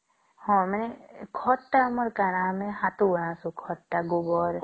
ହଁ ମାନେ ଖତ ତ ଆମର କଣ ? ଆମେ ହାଟୁଆ ଆସେ ଖତ ତ ଗୋବର